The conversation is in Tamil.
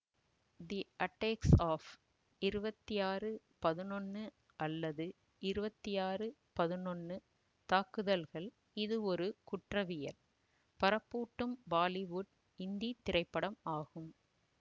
தி அட்டேக்ஸ் ஆப் இருவத்தி ஆறு பதினொன்னு அல்லது இருவத்தி ஆறு பதினொன்னு தாக்குதல்கள் இது ஒரு குற்றவியல் பரப்பூட்டும் பாலிவுட் இந்தி திரைப்படம் ஆகும்